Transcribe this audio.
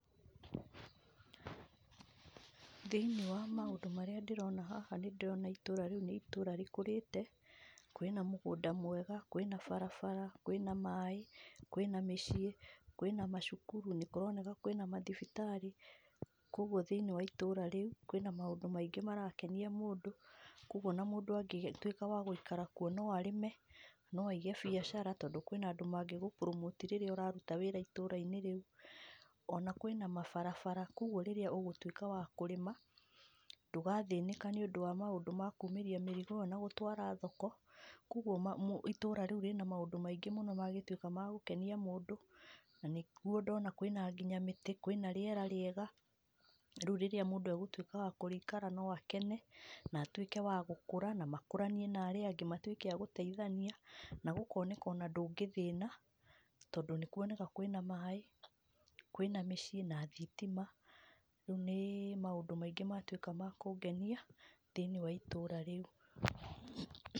Thĩiniĩ wa maũndũ marĩa ndĩrona haha nĩ ndĩrona rĩrĩ nĩ itũũra rĩkũrĩte, kwĩna mũgũnda mwega, kwĩna barabara, kwĩna maaĩ, kwĩna mĩciĩ, kwĩna macukuru, nĩ kũroneka kwĩna mathibitarĩ. Kwoguo thĩiniĩ wa itũra rĩu kwĩna maũndũ maingĩ marakenia mũndũ kwoguo ona mũndũ angĩtuĩka wa gũikara kũu no arĩme no aige biacara to kwĩna andũ mangĩgũbromoti rĩrĩa ũraruta wĩra itũrainĩ rĩu ona kwĩna mabarabara kwoguo rĩrĩa ũgũtuĩka wa kũrĩma ndũgathĩnĩka nĩũndũ wa maũndũ makuumĩria mĩrigo iyo na gũtwara thoko kwoguo itũra rĩu rĩna maũndũ maingĩ mangĩtuĩka magũkenia mũndũ. Na nĩguo ndona kwĩna nginya mĩtĩ kwĩna rĩera rĩega rĩu rĩrĩa mũndũ agũtuĩka wa kũrĩikara no akene na atuĩke wa gũkũra na makũranie na arĩa angĩ matuĩke agũteitania na gũkoneka ona ndũngĩthĩna to nĩ kuoneka kwĩna maaĩ, kwĩna mĩciĩ na thitima. Nĩ maũndũ maingĩ matuĩka nĩ makũngenia thĩiniĩ wa itũũra rĩu.